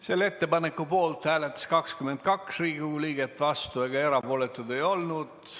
Selle ettepaneku poolt hääletas 22 Riigikogu liiget, vastuolijaid ega erapooletuid ei olnud.